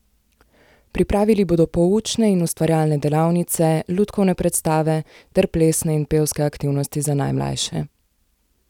Pripravili bodo poučne in ustvarjalne delavnice, lutkovne predstave ter plesne in pevske aktivnosti za najmlajše.